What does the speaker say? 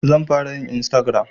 Zan fara yin Istagiram